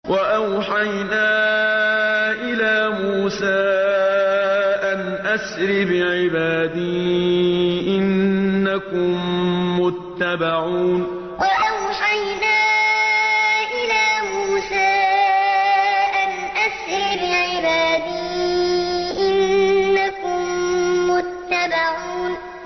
۞ وَأَوْحَيْنَا إِلَىٰ مُوسَىٰ أَنْ أَسْرِ بِعِبَادِي إِنَّكُم مُّتَّبَعُونَ ۞ وَأَوْحَيْنَا إِلَىٰ مُوسَىٰ أَنْ أَسْرِ بِعِبَادِي إِنَّكُم مُّتَّبَعُونَ